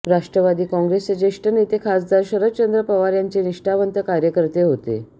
राष्ट्रवादी काँग्रेसचे ज्येष्ठ नेते खासदार शरदचंद्र पवार यांचे निष्ठावंत कार्यकर्ते होते